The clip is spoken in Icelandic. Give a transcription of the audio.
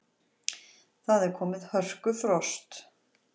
Það er komið hörkufrost.